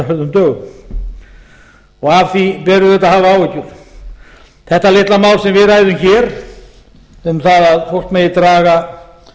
á undanförnum dögum og af því ber auðvitað að hafa áhyggjur þetta litla mál sem við ræðum hér um það að fólk megi draga